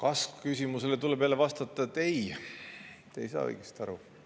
Kas-küsimusele tuleb jälle vastata: ei, te ei saa õigesti aru.